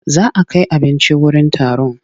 Za a kai abinci wurin taron.